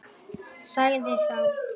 Sagði þá